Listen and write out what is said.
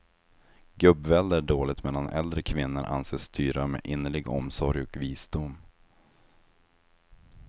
Gubbvälde är dåligt medan äldre kvinnor anses styra med innerlig omsorg och visdom.